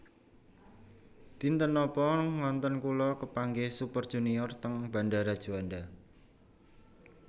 Dinten nopo ngonten kula kepanggih Super Junior teng bandara Juanda